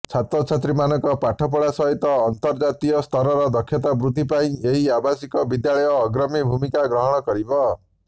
ଛାତ୍ରଛାତ୍ରୀଙ୍କ ପାଠପଢ଼ା ସହିତ ଆନ୍ତର୍ଜାତୀୟସ୍ତରର ଦକ୍ଷତା ବୃଦ୍ଧି ପାଇଁ ଏହି ଆବାସିକ ବିଦ୍ୟାଳୟ ଅଗ୍ରଣୀ ଭୂମିକା ଗ୍ରହଣ କରିବ